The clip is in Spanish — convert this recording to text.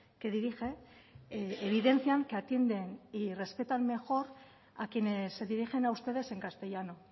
que dirige evidencian que atienden y respetan mejor a quienes se dirigen a ustedes en castellano